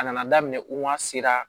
A nana daminɛ u ma se ka